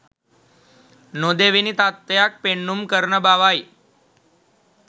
නොදෙවෙනි තත්ත්වයක් පෙන්නුම් කරන බවයි.